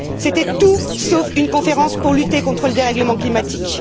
C'était tout sauf une conférence pour lutter contre le dérèglement climatique.